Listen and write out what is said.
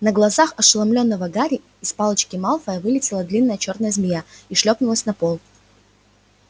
на глазах ошеломлённого гарри из палочки малфоя вылетела длинная чёрная змея и шлёпнулась на пол